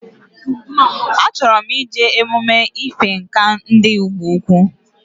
Ochoro ije emume ife Ǹkà ndi igbo-ukwu